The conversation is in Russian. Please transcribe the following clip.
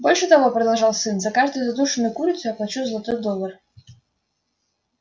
больше того продолжал сын за каждую задушенную курицу я плачу золотой доллар